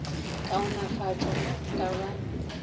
kaonafatšwa ge go ka ba